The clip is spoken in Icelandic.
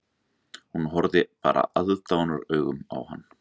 Hún horfði bara aðdáunaraugum á hann